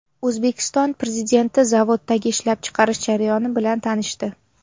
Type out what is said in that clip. O‘zbekiston Prezidenti zavoddagi ishlab chiqarish jarayoni bilan tanishdi.